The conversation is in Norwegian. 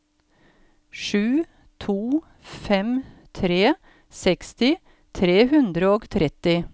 sju to fem tre seksti tre hundre og tretti